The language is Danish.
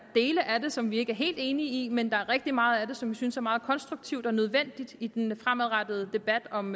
dele af det som vi ikke er helt enige i men der er rigtig meget af det som vi synes er meget konstruktivt og nødvendigt i den fremadrettede debat om